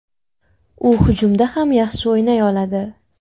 U hujumda ham yaxshi o‘ynay oladi.